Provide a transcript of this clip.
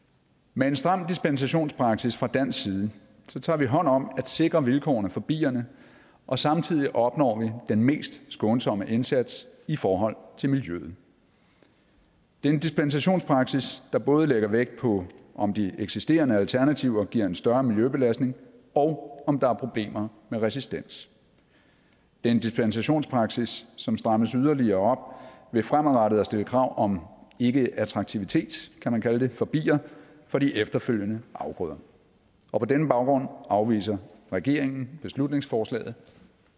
med en stram dispensationspraksis fra dansk side tager vi hånd om at sikre vilkårene for bierne og samtidig opnår vi den mest skånsomme indsats i forhold til miljøet det er en dispensationspraksis der både lægger vægt på om de eksisterende alternativer giver en større miljøbelastning og om der er problemer med resistens det er en dispensationspraksis som strammes yderligere ved fremadrettet at stille krav om ikkeattraktivitet kan man kalde det for bier for de efterfølgende afgrøder og på denne baggrund afviser regeringen beslutningsforslaget